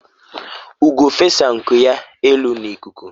ugo fesa ya nku elu na ikuku